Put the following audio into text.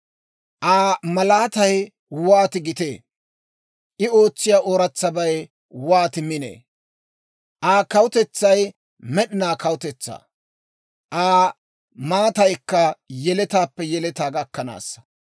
«Aa malaatay wooti gitee! I ootsiyaa ooratsabay wooti minee! Aa kawutetsay med'inaa kawutetsaa; Aa maataykka yeletaappe yeletaa gakkanaasa.